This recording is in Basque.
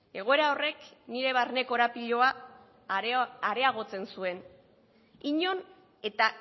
egoera horrek nire barne korapiloa areagotzen zuen inon eta